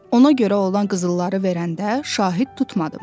Ona görə ona qızılları verəndə şahid tutmadım.